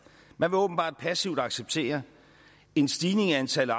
man vil åbenbart passivt acceptere en stigning i antallet